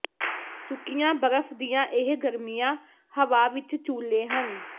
ਸੁੱਕੀਆਂ ਬਰਫ਼ ਦੀਆਂ ਇਹ ਗਰਮੀਆਂ ਹਵਾ ਵਿਚ ਚੂਲੇ ਹਨ